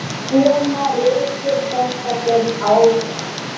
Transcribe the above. Svona rekur þetta sig áfram.